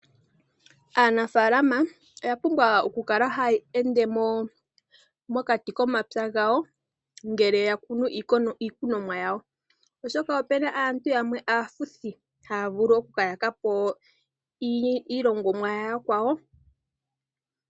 Aanafalama oya pumbwa okukala haya ende mokati komapya gawo ngele yakunu iikunomwa yawo, oshoka opuna aantu yamwe aafuthi haya vulu okukayaka po iilongomwa yayakwawo.